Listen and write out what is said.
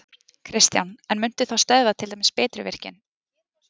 Kristján: En muntu þá stöðva til dæmis Bitruvirkjun?